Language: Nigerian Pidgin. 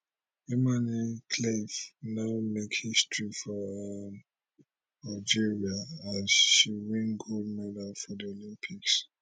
imane khelif now make history for um algeria as she win gold medal for di olympics